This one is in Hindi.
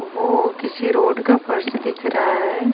ओ किसी रोड का फर्श दिख रहा है।